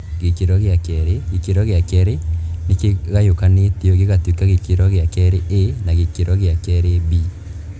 Gĩkĩro gĩa kerĩ :gĩkĩro gĩa kerĩ nĩ kĩgayũkanĩtio gĩgatuĩka gĩkĩro gĩa kerĩ A na gĩa kerĩ B.